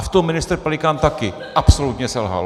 A v tom ministr Pelikán taky absolutně selhal.